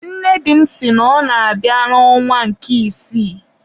nne di m sị na ọ na-abịa n'ọnwa nke isii.